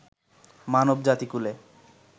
মানব জাতি কূলে